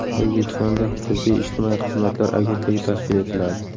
O‘zbekistonda Tibbiy-ijtimoiy xizmatlar agentligi tashkil etiladi.